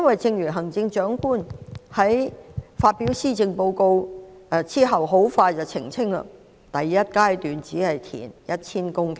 正如行政長官在發表施政報告後不久便澄清，第一階段只會填海 1,000 公頃。